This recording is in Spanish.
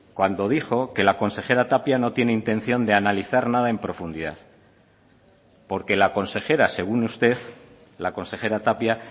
cuando dijo que la consejera tapia no tiene intención de analizar nada en profundidad porque la consejera según usted la consejera tapia